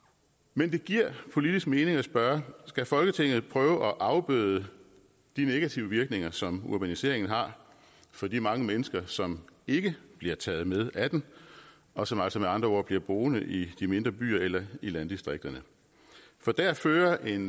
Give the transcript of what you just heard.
men det giver politisk mening at spørge skal folketinget prøve at afbøde de negative virkninger som urbaniseringen har for de mange mennesker som ikke bliver taget med af den og som altså med andre ord bliver boende i de mindre byer eller i landdistrikterne for der fører en